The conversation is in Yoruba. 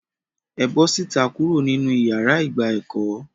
É bọ síta kuro ninu iyàrá ìgbà ẹkọ!